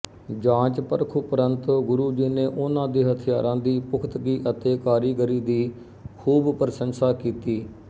ਜਾਂਚਪਰਖ ਉਪਰੰਤ ਗੁਰੂ ਜੀ ਨੇ ਉਨ੍ਹਾਂ ਦੇ ਹਥਿਆਰਾਂ ਦੀ ਪੁਖਤਗੀ ਅਤੇ ਕਾਰੀਗਰੀ ਦੀ ਖ਼ੂਬ ਪ੍ਰਸੰਸਾਕੀਤੀ